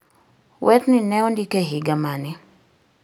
werni ne ondik e higa mane